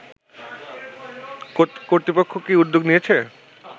কর্তৃপক্ষ কি উদ্যোগ নিয়েছে